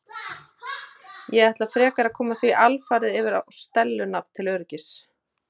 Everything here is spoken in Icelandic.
Ég ætla frekar að koma því alfarið yfir á Stellu nafn til öryggis.